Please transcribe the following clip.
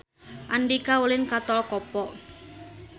Andika ulin ka Tol Kopo